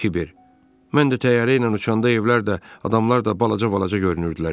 Kiber: "Mən də təyyarə ilə uçanda evlər də, adamlar da balaca-balaca görünürdülər" dedi.